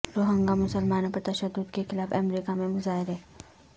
روہنگا مسلمانوں پر تشدد کے خلاف امریکہ میں مظاہرے